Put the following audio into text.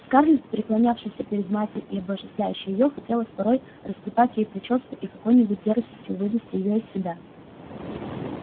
скарлетт преклонявшейся перед матерью и обожествлявшей её хотелось порой растрепать ей причёску и какой-нибудь дерзостью вывести её из себя